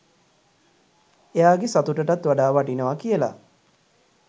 එයාගෙ සතුටටත් වඩා වටිනවා කියලා.